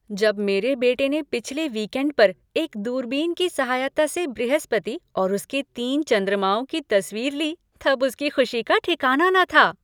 जब मेरे बेटे ने पिछले वीकएंड पर एक दूरबीन की सहायता से बृहस्पति और उसके तीन चंद्रमाओं की तस्वीर ली तब उसकी खुशी का ठिकाना न था।